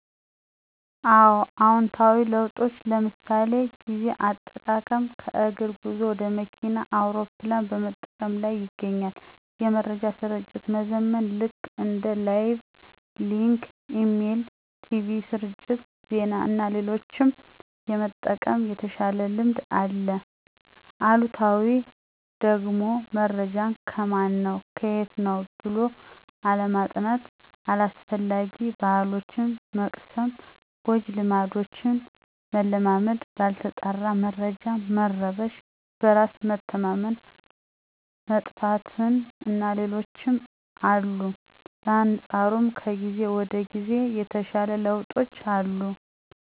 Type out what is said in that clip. አወ። አዎንታዊ ለውጦች ለምሣሌ፦ ጊዜ አጠቃቀም ከእግር ጉዞ ወደ መኪና፣ አውሮፕላን በመጠቀም ላይ ይገኛል። የመረጃ ስርጭት መዘመን ልክ እንደ ላይቭ፣ ሊንክ፣ ኢሜል፣ ቲቪ ስርጭት፣ ዜና እና ሌሎችም የመጠቀም የተሻለ ልምድ አለ። አሉታዊው ደግሞመረጃን ከማን ነው ከየት ነው ብሎ አለማጥናት። አላስፈላጊ ባሕሎችን መቅሰም፣ ጎጂ ልማዶችን መለማመድ፣ ባልተጣራ መረጃ መረበሽ፣ በራስ መተማመን መጥፋት እና ሌሎችም አሉ። በአንፃሩም ከጊዜ ወደ ጊዜ የተሻሉ ለውጦች አሉ።